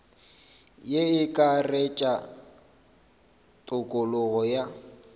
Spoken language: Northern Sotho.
ye e akaretša tokologo ya